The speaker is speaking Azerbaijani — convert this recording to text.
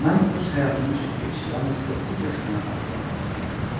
Mən öz həyatımı çox gec, yalnız doqquz yaşımdan xatırlamağa başladım.